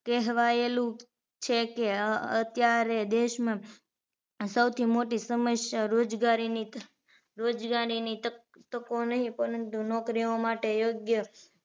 કહેવાયેલું છે કે અ અત્યારે દેશમાં સૌથી મોટી સમસ્યા રોજગારીની રોજગારીની તક તકો નહીં પરંતુ નોકરીઓ માટે યોગ્ય